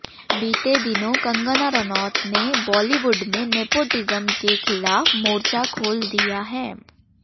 बीते दिनों कंगना रनौत ने बॉलीवुड में नेपोटिज्म के खिलाफ मोर्चा खोल दिया है